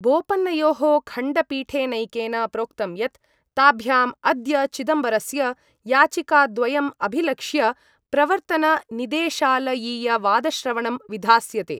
बोपन्नयोः खण्डपीठेनैकेन प्रोक्तं यत् ताभ्याम् अद्य चिदम्बरस्य याचिकाद्वयम् अभिलक्ष्य प्रवर्तननिदेशालयीयवादश्रवणं विधास्यते।